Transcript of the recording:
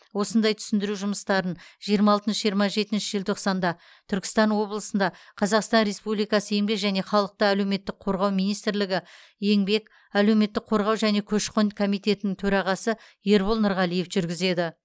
осындай түсіндіру жұмыстарын жиырма алтыншы жиырма жетінші желтоқсанда түркістан облысында қазақстан республикасы еңбек және халықты әлеуметтік қорғау министрлігі еңбек әлеуметтік қорғау және көші қон комитетінің төрағасы ербол нұрғалиев жүргізеді